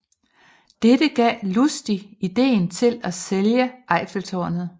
Dette gav Lustig ideen til at sælge Eiffeltårnet